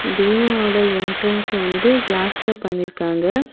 பீமா ஒட என்ட்ரன்ஸ் வந்து கிளாஸ்ல பண்ணிருக்காங்க.